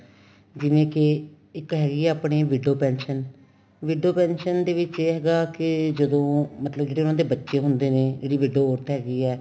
ਜਿਵੇਂ ਕੀ ਇੱਕ ਹੈਗੀ ਏ ਆਪਣੀ ਵਿਟੋ pension ਵਿਟੋ pension ਦੇ ਵਿੱਚ ਇਹ ਹੈਗਾ ਕੀ ਜਦੋਂ ਮਤਲਬ ਜਿਹੜੇ ਉਹਨਾ ਦੇ ਬੱਚੇ ਹੁੰਦੇ ਨੇ ਜਿਹੜੀ ਵਿਦੋਰਥ ਹੈਗੀ ਏ